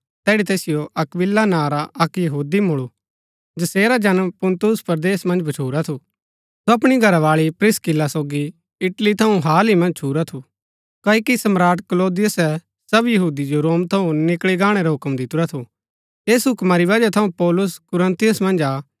तैड़ी तैसिओ अक्‍विला नां रा अक्क यहूदी मूळु जैसेरा जन्म पुन्तुस परदेस मन्ज भच्छुरा थु सो अपणी घरावाळी प्रिस्किल्ला सोगी इटली थऊँ हाल ही मन्ज छुरा थु क्ओकि सम्राट क्लौदियुसे सब यहूदी जो रोम थऊँ निकळी गाणै रा हूक्म दितुरा थु ऐस हूक्मा री वजह थऊँ पौलुस कुरिन्थुस मन्ज आ